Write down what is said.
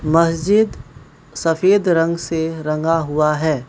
मस्जिद सफेद रंग से रंगा हुआ है।